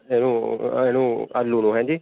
ਆਲੂ ਨੂੰ ਹੈਂ ਜੀ?